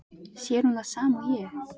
Sér hún það sama og ég?